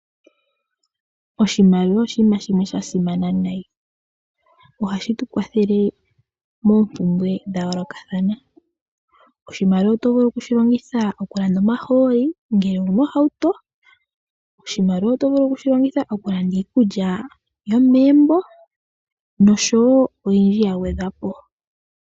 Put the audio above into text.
Oshimaliwa oshinima shimwe sha simana noonkondo. Ohashi tu kwathele moompumbwe dha yoolokathana. Oshimaliwa oto vulu okushi longitha okulanda omahooli ngele owu na ohauto, oshimaliwa oto vulu okushi longitha okulanda iikululya yomegumbo noshowo oyindji ya gwedhwa po.